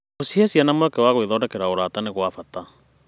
Gũcihe ciana mweke wa gwĩthondekera ũrata nĩ gwa bata.